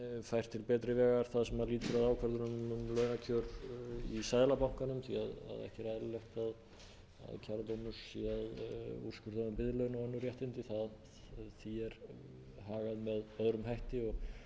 fært til betri vegar það sem lýtur að ákvörðun um launakjör í seðlabankanum því ekki er eðlilegt að kjara sé að úrskurða um biðlaun og önnur réttindi því er hagað með öðrum hætti